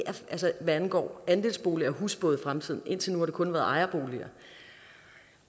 angår også andelsboliger og husbåde i fremtiden indtil nu har det kun været ejerboliger